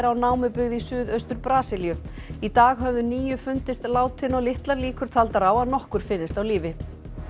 á námubyggð í suð austur Brasilíu í dag höfðu níu fundist látin og litlar líkur taldar á að nokkur finnist á lífi